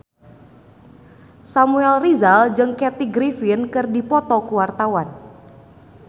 Samuel Rizal jeung Kathy Griffin keur dipoto ku wartawan